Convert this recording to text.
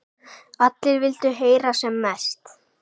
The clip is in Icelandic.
Allir vildu heyra sem mest.